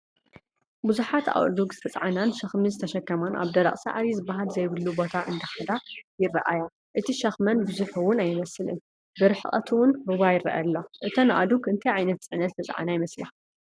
ብዙሓት ኣእዱግ ዝተፃዕናን ሸኽሚ ዝተሸማን ኣብ ደረቕ ሳዕሪ ዝባሃል ዘይብሉ ቦታ እንትኸዳ ይረኣያ፡፡ እቲ ሸከመን ብዙሕ ውን ኣይመስልን፡፡ ብርሕቐት ውን ሩባ ይረአ ኣሎ፡፡ እተን ኣእዱግ እንታይ ዓይነት ፅዕነት ዝተፃዓና ይመስላ?